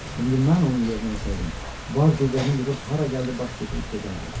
İndi mən onun yerinə olsaydım, var qüvvəmi yığıb hara gəldi baş götürüb gedərdim.